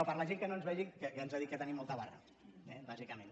no per la gent que no ens vegi que ens ha dit que tenim molta barra eh bàsicament